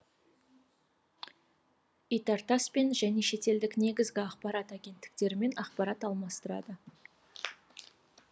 итартасс пен және шетелдік негізгі ақпарат агенттіктерімен ақпарат алмастырады